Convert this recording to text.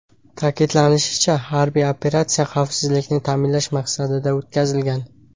Ta’kidlanishicha, harbiy operatsiya xavfsizlikni ta’minlash maqsadida o‘tkazilgan.